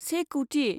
से कौटि